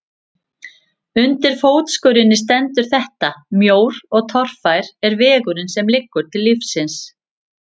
Undir fótskörinni stendur þetta: Mjór og torfær er vegurinn sem liggur til lífsins.